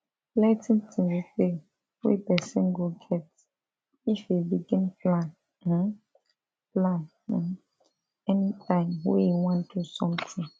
plenty things dey wey person go get if e begin plan um plan um anytime wey e wan do something